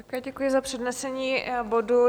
Také děkuji za přednesení bodu.